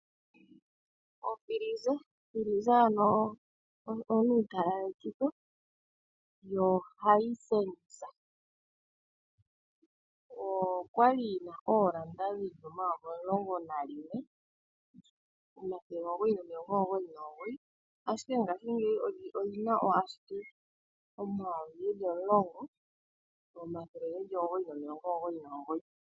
Okila yokutalaletitha yedhina Hisense, okwali yi na oondola dhaNamibia omayovi omulongo nayimwe, omathele omugoyi nomilongo omugoyi nomugoyi, ashike ngashingeyi oto yi ilikolele owala koondola dhaNamibia omayovi omulongo omathele omugoyi nomilongo omugoyi nomugoyi.